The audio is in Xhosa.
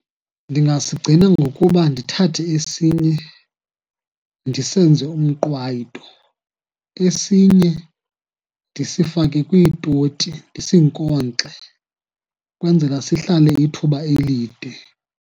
Ndingasigcina ngokuba ndithathe esinye ndisenze umqwayito, esinye ndisifake kwiitoti ndisinkonkxe, ukwenzela sihlale ithuba elide.